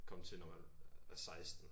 Komme til når man er 16